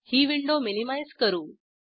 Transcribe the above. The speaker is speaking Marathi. ही विंडो मिनीमाईज करू